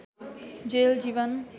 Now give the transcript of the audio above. jail Jeevan